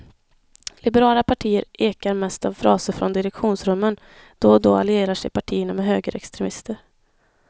Liberala partier ekar mest av fraser från direktionsrummen, då och då allierar sig partierna med högerextremister.